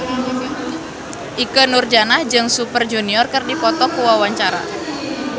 Ikke Nurjanah jeung Super Junior keur dipoto ku wartawan